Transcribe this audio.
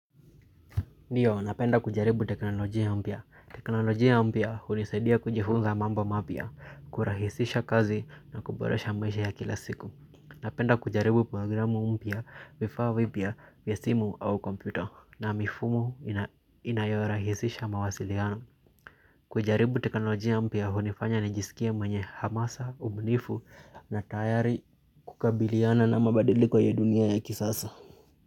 Ndio, napenda kujaribu teknolojia mpya. Teknolojia mpya hunisedia kujifunza mambo mapya, kurahisisha kazi na kuboresha maisha ya kila siku. Napenda kujaribu programu mpya vifaa vipya vya simu au kompyuta na mifumo inayorahisisha mawasiliano. Kujaribu teknolojia mpya hunifanya nijisikie mwenye hamasa, ubunifu na tayari kukabiliana na mabadiliko ya dunia ya kisasa.